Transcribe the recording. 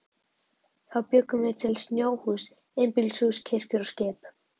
Þá bjuggum við til snjóhús, einbýlishús, kirkjur og skip.